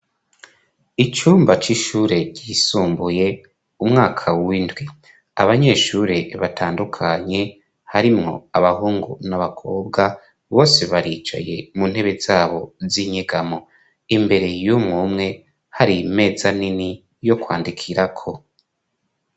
Icumba c'ishure ryisumbuye umwaka w'indwi. Abanyeshure batandukanye harimo abahungu n'abakobwa bose baricaye mu ntebe zabo z'inyegamo, imbere y'umwe umwe hari imeza nini yo kwandikirako.